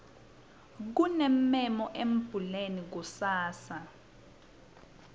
kunemmemo embuleni kusasa